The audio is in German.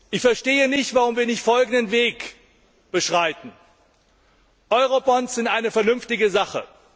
Ich verstehe nicht, warum wir nicht folgenden Weg beschreiten Eurobonds sind eine vernünftige Sache.